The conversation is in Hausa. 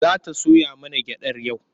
Za ta soya mana gyaɗar yau?